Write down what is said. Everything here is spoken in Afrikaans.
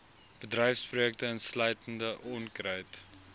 bedryfsprojekte insluitende onkruid